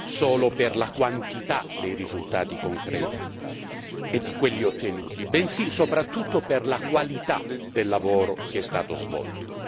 solo per la quantità dei risultati concreti e di quelli ottenuti, bensì soprattutto per la qualità del lavoro che è stato svolto.